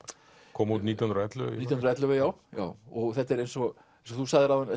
kom út nítján hundruð og ellefu nítján hundruð og ellefu já þetta er eins og þú sagðir áðan